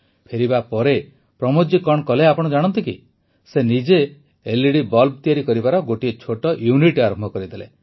ଫେରିବା ପରେ ପ୍ରମୋଦ ଜୀ କଣ କଲେ ଆପଣ ଜାଣନ୍ତି କି ସେ ନିଜେ ଏଲଇଡି ବଲ୍ବ ତିଆରି କରିବାର ଗୋଟିଏ ଛୋଟ ୟୁନିଟ ଆରମ୍ଭ କରିଦେଲେ